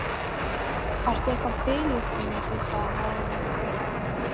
Ertu eitthvað biluð kona, hrópaði Haraldur.